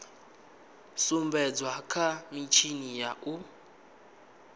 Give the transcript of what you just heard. sumbedzwa kha mitshini ya u